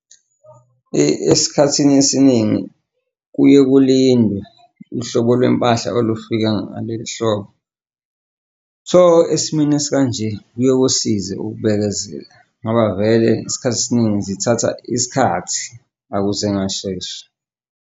Esikhathini esiningi kuye kulindwe uhlobo lwempahla olufika ngale ehlobo. So, esimweni esikanje kuye kusize ukubekezela ngoba vele isikhathi esiningi zithatha isikhathi akuze ngashesha.